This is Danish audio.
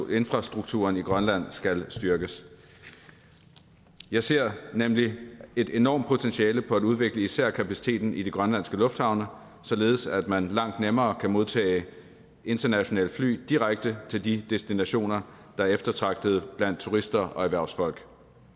infrastrukturen i grønland skal styrkes jeg ser nemlig et enormt potentiale for at udvikle især kapaciteten i de grønlandske lufthavne således at man langt nemmere kan modtage internationale fly direkte til de destinationer der er eftertragtet blandt turister og erhvervsfolk